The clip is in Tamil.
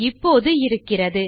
இப்போது இருக்கிறது